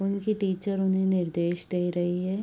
उनकी टीचर उन्हें निर्देश दे रही है।